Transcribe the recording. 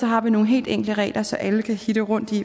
har vi nogle helt enkle regler så alle kan hitte rundt i